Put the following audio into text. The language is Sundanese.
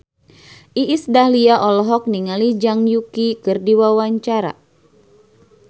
Iis Dahlia olohok ningali Zhang Yuqi keur diwawancara